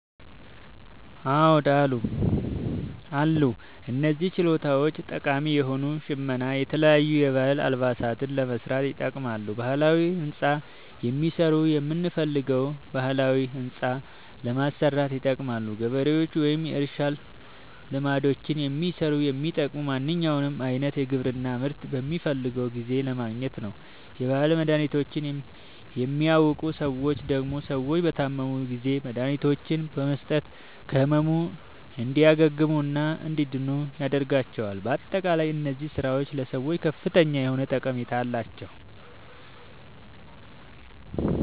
አዎድ አሉ። እነዚህ ችሎታዎች ጠቃሚ የሆኑት ሸመና የተለያዩ የባህል አልባሳትን ለመስራት ይጠቅማሉ። ባህላዊ ህንፃ የሚሠሩት የምንፈልገዉን ባህላዊ ህንፃ ለማሠራት ይጠቅማሉ። ገበሬዎች ወይም የእርሻ ልማዶችን የሚሠሩት የሚጠቅሙት ማንኛዉንም አይነት የግብርና ምርት በምንፈልገዉ ጊዜ ለማግኘት ነዉ። የባህል መድሀኒቶችን የሚያዉቁ ሠዎች ደግሞ ሰዎች በታመሙ ጊዜ መድሀኒቶችን በመስጠት ከህመሙ እንዲያግሙና እንዲድኑ ያደርጓቸዋል። በአጠቃላይ እነዚህ ስራዎች ለሰዎች ከፍተኛ የሆነ ጠቀሜታ አላቸዉ።